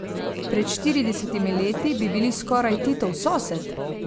Pred štiridesetimi leti bi bili skoraj Titov sosed?